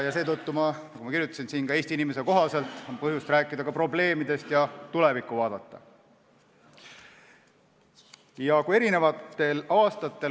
Seetõttu kirjutasin ma siia Eesti inimesele kohaselt, et on põhjust rääkida ka probleemidest ja tulevikku vaadata.